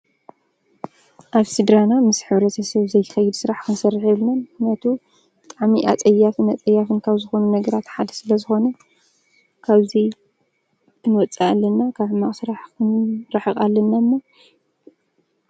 አብ ስድራና ምስ ሕብረተሰብ ዘይከይድ ስራሕ ክንሰርሕ የብልናን። ምክንያቱ ብጣዕሚ አፀያፍን አፀያፍን ካብ ዝኮኑ ነገራት ሓደ ስለዝኮነ ካብዚ ክንወፅእ አለና። ካብ ሕማቅ ስራሕ ክንርሕቅ አለና እሞ።